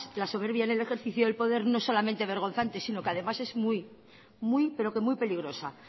la soberbia en el ejercicio del poder no solamente es vergonzante sino que además es muy pero que muy peligrosa